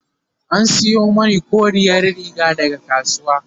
an Sayo mani koriyar Riga daga kasuwa